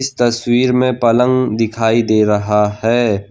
इस तस्वीर में पलंग दिखाई दे रहा हैं।